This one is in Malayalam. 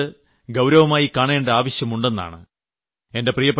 എന്നാൽ ഞാൻ കരുതുന്നത് ഗൌരവമായി കാണേണ്ട ആവശ്യമുണ്ടെന്നാണ്